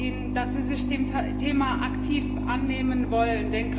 Ich danke Ihnen, dass Sie sich des Themas aktiv annehmen wollen.